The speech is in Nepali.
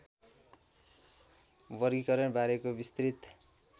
वर्गीकरण बारेको विस्तृत